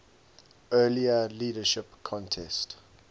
earlier leadership contest